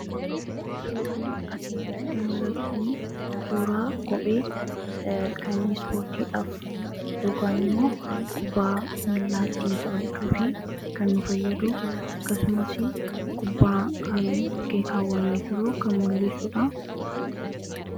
Suuraa kana irraa wanti nuti hubachuu dandeenyu, isaan kun shubbistoota akka ta'aniidha. Sababiin kana jedheef immoo, shubbisatti waan jiraniifidha. Akkuma beekamu, shubbisni isaan shubbisaa jiran kun shubbisa naannoo Shawaati. Sababni isaas, uffanni isaan uffatan uffata aadaa naannoo Shawaa waan ta'eef.